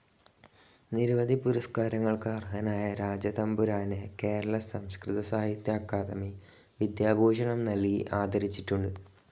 നിരവധി പുരസ്‌കാരങ്ങൾക്ക് അർഹനായ രാജ തമ്പുരാനെ കേരള സംസ്‌കൃത സാഹിത്യ അക്കാദമി വിദ്യാഭൂഷണം നൽകി ആദരിച്ചിട്ടുണ്ട്.